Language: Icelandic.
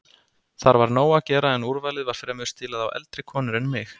Þar var nóg að gera en úrvalið var fremur stílað á eldri konur en mig.